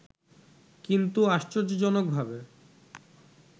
কিন্তু আশ্চর্যজনকভাবে